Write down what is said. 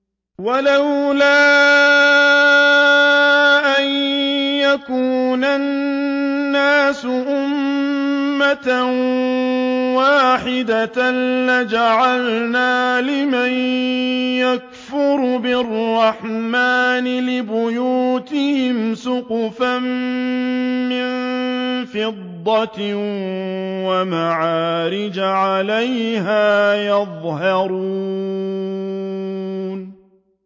وَلَوْلَا أَن يَكُونَ النَّاسُ أُمَّةً وَاحِدَةً لَّجَعَلْنَا لِمَن يَكْفُرُ بِالرَّحْمَٰنِ لِبُيُوتِهِمْ سُقُفًا مِّن فِضَّةٍ وَمَعَارِجَ عَلَيْهَا يَظْهَرُونَ